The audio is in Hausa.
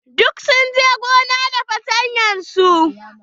Duk sun je gona da fartanyar su.